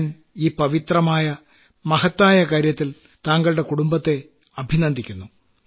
ഞാൻ ഈ പവിത്രമായ മഹത്തായ കാര്യത്തിൽ താങ്കളുടെ കുടുംബത്തെ ഞാൻ അഭിനന്ദിക്കുന്നു